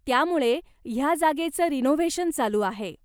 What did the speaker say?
त्यामुळे ह्या जागेचं रिनोव्हेशन चालू आहे.